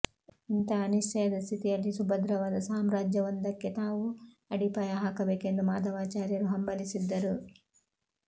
ಇಂಥ ಅನಿಶ್ಚಯದ ಸ್ಥಿತಿಯಲ್ಲಿ ಸುಭದ್ರವಾದ ಸಾಮ್ರಾಜ್ಯವೊಂದಕ್ಕೆ ತಾವು ಅಡಿಪಾಯ ಹಾಕಬೇಕೆಂದು ಮಾಧವಾಚಾರ್ಯರು ಹಂಬಲಿಸಿದ್ದರು